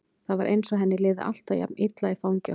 Það var eins og henni liði alltaf jafn illa í fangi okkar.